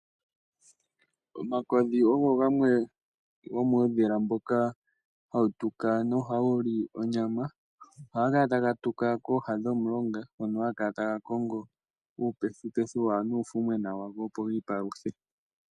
Omakodhi ogo gamwe gomuudhila mboka hawutuka nohawu li onyama. Ohaga kala taga tuka kooha dhomulonga ngono haga kala taga kongo uupethupethu nuufumwena wago opo giipaluthe.